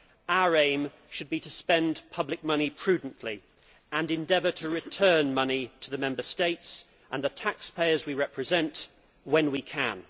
Our aim should be to spend public money prudently and endeavour to return money to the Member States and the taxpayers we represent, when we can.